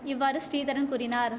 இவ்வாறு ஸ்ரீதரன் கூறினார்